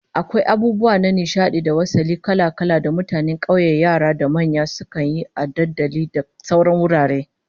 Akwai abubuwa na nishadi da wasalli kala-kala da mutanen kauye yara da manya sukan yi a dandali da sauran wurare